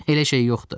Elə şey yoxdur.